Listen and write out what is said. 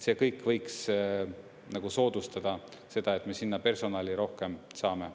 See kõik võiks soodustada seda, et me sinna personali rohkem saame.